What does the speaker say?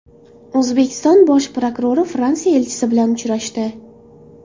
O‘zbekiston bosh prokurori Fransiya elchisi bilan uchrashdi.